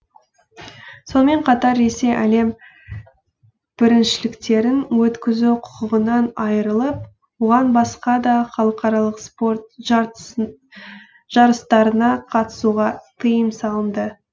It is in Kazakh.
сонымен қатар ресей әлем біріншіліктерін өткізу құқығынан айрылып оған басқа да халықаралық спорт жарыстарына қатысуға тыйым салынды